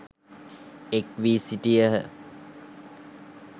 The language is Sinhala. එක්වී සිටියහ.